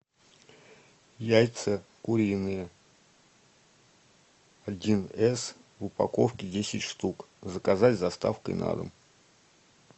яйца куриные один с в упаковке десять штук заказать с доставкой на дом